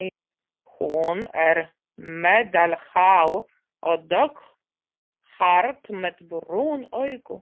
Hún er meðalhá og dökkhærð með brún augu.